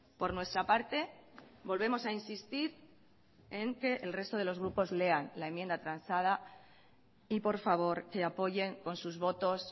por nuestra parte volvemos a insistir en que el resto de los grupos lean la enmienda transada y por favor que apoyen con sus votos